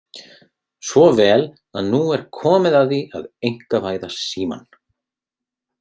Svo vel að nú er komið að því að einkavæða Símann.